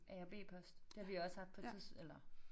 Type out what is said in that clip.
A og B post det har vi jo også haft på et tids eller